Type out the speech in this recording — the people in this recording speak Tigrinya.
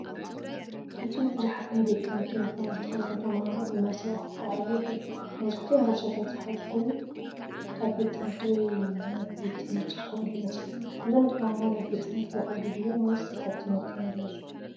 ኣብዚ ብዙሓት ናይ ቤት ትምህርቲ ዩኒፎርም ዝተኸድኑ ተማሃሮ ብመስርዕ ክጓዓዙ ይረኣዩ። መብዛሕትኦም ቦርሳታት ዝሓዙ ኮይኖም ካብ ቤት ትምህርቲ ወይ ናብ ቤት ትምህርቲ ዝኸዱ ይመስሉ። እዞም ተማሃሮ ናብ ቤት ትምህርቲ ይኸዱ ድዮም ወይስ ካብ ትምህርቲ ይምለሱ?